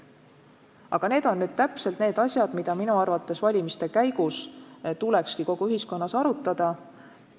Aga need on asjad, mida minu arvates ka valimiste käigus tuleks kogu ühiskonnas arutada.